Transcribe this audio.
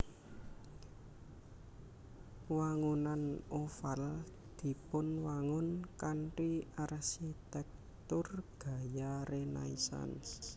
Wangunan Oval dipunwangun kanthi arsitèktur gaya rénaisans